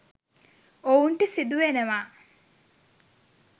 ඔවුන්ට සිදුවෙනවා